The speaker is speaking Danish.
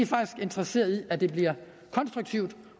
faktisk interesserede i at det bliver konstruktivt